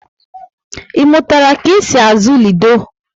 I mụtara ka e si azụ lido?